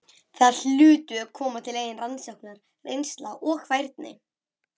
Þar hlutu að koma til eigin rannsóknir, reynsla og færni.